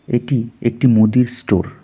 এটি একটি মুদির স্টোর ।